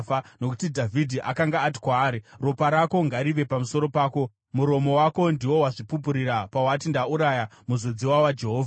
Nokuti Dhavhidhi akanga ati kwaari, “Ropa rako ngarive pamusoro pako. Muromo wako ndiwo wazvipupurira pawati, ‘Ndauraya muzodziwa waJehovha.’ ”